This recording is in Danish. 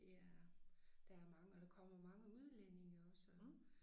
Det er der er mange og der kommer mange udlændinge også og